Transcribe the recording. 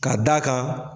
Ka d'a kan